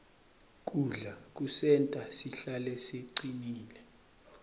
kudla kusenta sihlale sicinile